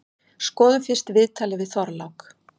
Skoðum fyrst viðtalið við Þorlák.